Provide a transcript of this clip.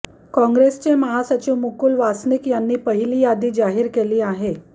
काँग्रेसचे महासचिव मुकूल वासनिक यांनी पहिली यादी जाहीर केली आहे